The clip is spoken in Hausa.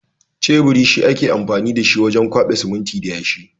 Teburi shi ake amfani da shi wurin kwaɓa siminti ya yashi.